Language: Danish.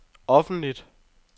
offentligt